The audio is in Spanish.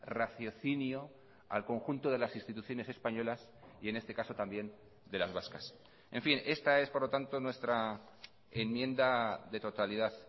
raciocinio al conjunto de las instituciones españolas y en este caso también de las vascas en fin esta es por lo tanto nuestra enmienda de totalidad